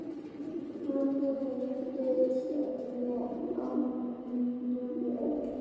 Hann reyndist mér og mínum vel.